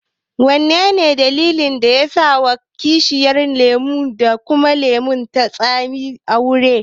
Menene dalilin da yasa ake wa bishiyar lemo da kuma lemon tsami aure?